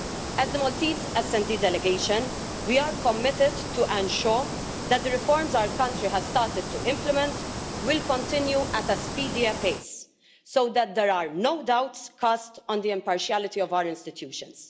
As the Maltese SD delegation, we are committed to ensure that the reforms our country has started to implement will continue at a speedier pace so that there are no doubts cast on the impartiality of our institutions.